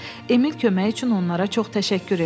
Emil kömək üçün onlara çox təşəkkür elədi.